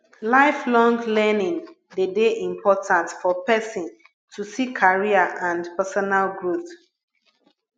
lifelong learning de de important for persin to see career and personal growth